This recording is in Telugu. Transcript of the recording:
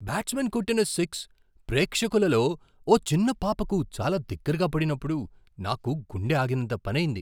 బ్యాట్స్మ్యాన్ కొట్టిన సిక్స్ ప్రేక్షకులలో ఓ చిన్న పాపకు చాలా దగ్గరగా పడినప్పుడు నాకు గుండె ఆగినంత పనయింది.